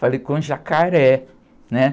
Falei com o jacaré, né?